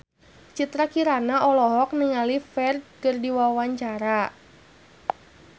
Citra Kirana olohok ningali Ferdge keur diwawancara